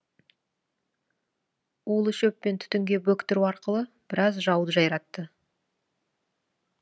улы шөппен түтінге бөктіру арқылы біраз жауды жайратты